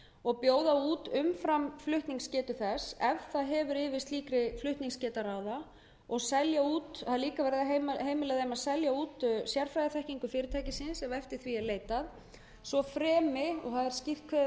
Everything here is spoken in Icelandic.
og bjóða út umframflutningsgetu þess ef það hefur yfir slíkri flutningsgetu að ráða og það er líka verið að heimila þeim að selja út sérfræðiþekkingu fyrirtækisins ef eftir því er leitað svo fremi og það er skýrt kveðið á um það í þessu